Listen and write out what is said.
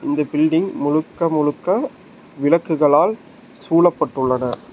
இந்த பில்டிங் முழுக்க முழுக்க விளக்குகளால் சூழப்பட்டுள்ளன.